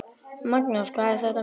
Magnús: Hvað er þetta mikið?